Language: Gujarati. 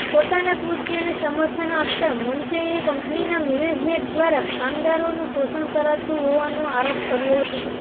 પોતાના કૃત્યને સમર્થન આપતા મનસેએ કંપનીના મેનેજમેન્ટ દ્વારા કામદારોનું શોષણ કરાતું હોવાનો આરોપ કર્યો હતો